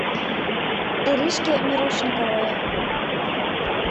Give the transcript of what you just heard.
иришке мирошниковой